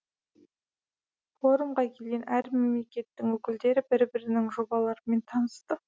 форумға келген әр мемлекеттің өкілдері бір бірінің жобаларымен танысты